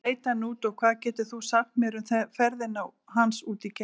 Hvernig leit hann út og hvað getur þú sagt mér um ferðina hans út geim?